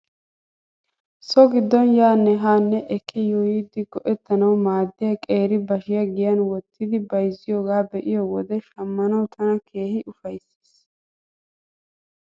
So giddon yaanne haane ekki yuuyidi go'ettanawu maaddiyaa qeeri bashiyaa giyan wottidi bayzziyoogaa be'iyoo wodiyan shamanaw tana keehi ufayssis .